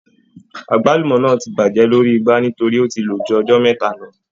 Àgbálùmọ́ náà ti bàjẹ́ lórí igbá nítorí ó ti lò ju ọjọ́ mẹ́ta lọ.